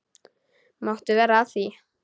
Máttu vera að því?